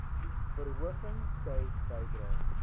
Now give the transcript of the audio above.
verhoging sou bydra